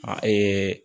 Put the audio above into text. A